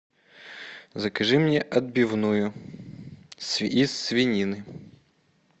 закажи мне отбивную из свинины